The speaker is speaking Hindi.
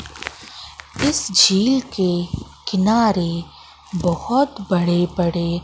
इस झील के किनारे बहोत बड़े बड़े--